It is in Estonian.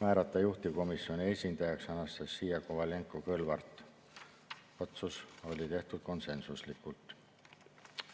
määrata juhtivkomisjoni esindajaks Anastassia Kovalenko-Kõlvart, ka see otsus oli tehtud konsensuslikult.